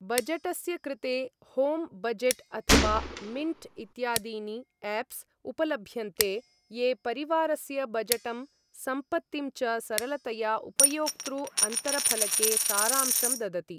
बजटस्य कृते home budget अथवा Mint इत्यादीनि एप्स् उपलभ्यन्ते, ये परिवारस्य बजटं सम्पत्तिं च सरलतया उपयोक्तृ अन्तरफलके सारांशं ददति ।